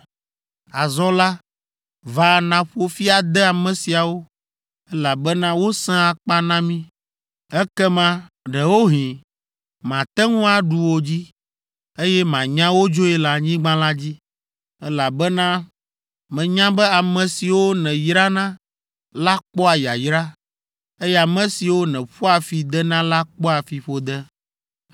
Azɔ la, va nàƒo fi ade ame siawo, elabena wosẽ akpa na mí. Ekema, ɖewohĩ, mate ŋu aɖu wo dzi, eye manya wo dzoe le anyigba la dzi. Elabena menya be ame siwo nèyrana la kpɔa yayra, eye ame siwo nèƒoa fi dena la kpɔa fiƒode.”